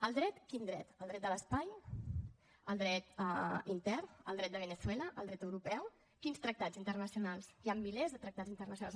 el dret quin dret el dret de l’espai el dret intern el dret de veneçuela el dret europeu quins tractats internacionals hi han milers de tractats internacionals